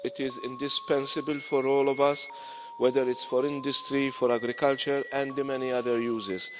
It is indispensable for all of us, whether it's for industry, for agriculture or the many other uses.